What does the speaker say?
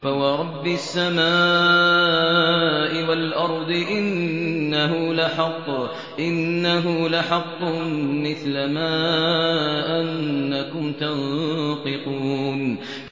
فَوَرَبِّ السَّمَاءِ وَالْأَرْضِ إِنَّهُ لَحَقٌّ مِّثْلَ مَا أَنَّكُمْ تَنطِقُونَ